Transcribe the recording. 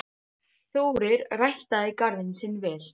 Þórir ræktaði garðinn sinn vel.